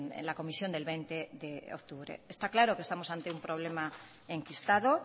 en la comisión del veinte de octubre está claro que estamos ante un problema enquistado